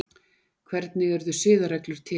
Hvernig urðu siðareglur til?